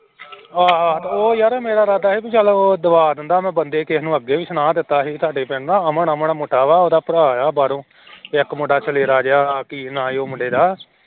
ਹਾਂ ਹਾਂ ਉਹ ਯਾਰ ਮੇਰਾ ਇਰਾਦਾ ਸੀ ਵੀ ਚੱਲ ਉਹ ਦਵਾ ਦਿੰਦਾ ਮੈਂ ਬੰਦੇ ਕਿਸੇ ਨੂੰ ਅੱਗੇ ਵੀ ਸੁਣਾ ਦਿੱਤਾ ਸੀ ਸਾਡੇ ਪਿੰਡ ਨਾ ਅਮਨ ਅਮਨ ਮੁੰਡਾ ਵਾ ਉਹਦਾ ਭਰਾ ਆ ਬਾਰੋ ਇੱਕ ਮੁੰਡਾ ਸਲੇਰਾ ਜਿਹਾ ਕੀ ਨਾਂ ਸੀ ਉਹ ਮੁੰਡੇ ਦਾ